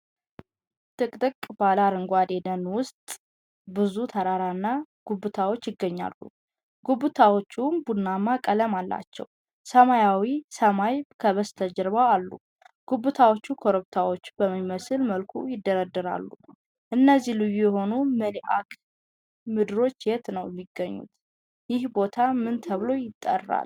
ጥቅጥቅ ባለ አረንጓዴ ደን ውስጥ ብዙ ተራራና ጉብታዎች ይገኛሉ። ጉብታዎቹ ቡናማ ቀለም አላቸው፣ ሰማያዊ ሰማይ ከበስተጀርባ አሉ። ጉብታዎቹ ኮረብታዎች በሚመስል መልኩ ይደረደራሉ። እነዚህ ልዩ የሆኑ መልክዓ ምድሮች የት ነው የሚገኙት? ይህ ቦታ ምን ተብሎ ይጠራል?